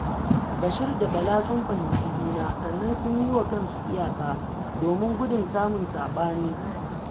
Bashir da Bala sun fahimci juna, sannan sun yi wa kansu iyaka, domin gudun samun saɓani